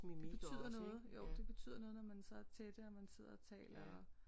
Det betyder noget jo det betyder noget når man så er tætte og man sidder og taler og